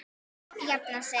Jafna sig?